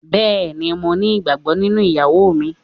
Bẹ́ẹ̀ni, mo ní ìgbàgbọ́ nínú ìyàwó mi.